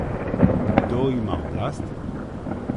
Kdo ima oblast?